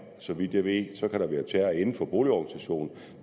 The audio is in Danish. så vidt jeg ved kan være terror inden for boligorganisationen